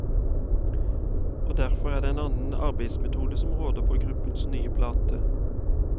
Og derfor er det en annen arbeidsmetode som råder på gruppens nye plate.